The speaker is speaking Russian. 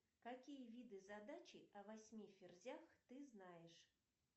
какие виды задачи о восьми ферзях ты знаешь